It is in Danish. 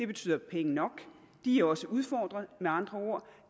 betyder penge nok de er også udfordret med andre ord